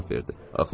cavab verdi.